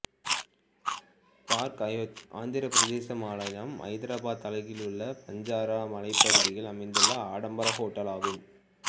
park Hyatt Andhra Pradesh மாநிலம் ஐதராபாத் அருகிலுள்ள பஞ்சாரா மலைப்பகுதியில் அமைந்துள்ள ஆடம்பர ஹோட்டல் ஆகும்